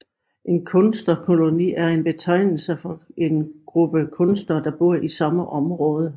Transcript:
En kunstnerkoloni er en betegnelse for en gruppe kunstnere der bor i samme område